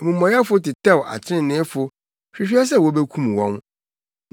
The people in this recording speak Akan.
Amumɔyɛfo tetɛw atreneefo hwehwɛ sɛ wobekum wɔn,